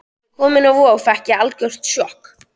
Þegar ég kom inn á Vog fékk ég algjört sjokk.